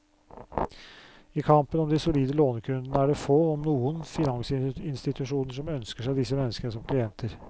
I kampen om de solide lånekundene er det få, om noen, finansinstitusjoner som ønsker seg disse menneskene som klienter.